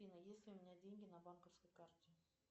афина есть ли у меня деньги на банковской карте